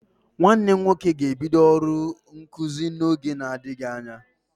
Nwanne m nwoke ga-ebido ọrụ nkụzi n'oge na-adịghị anya.